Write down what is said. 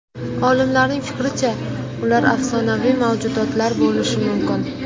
Olimlarning fikricha, ular afsonaviy mavjudotlar bo‘lishi mumkin.